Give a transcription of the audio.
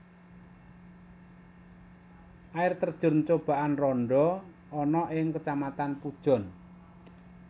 Air terjun Coban Rondo ana ing Kacamatan Pujon